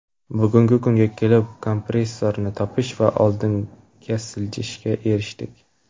Bugungi kunga kelib, kompromissni topish va oldinga siljishga erishdik.